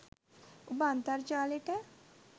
උඹ අන්තර්ජාලෙට